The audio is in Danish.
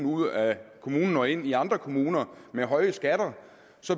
ud af kommunen og ind i andre kommuner med høje skatter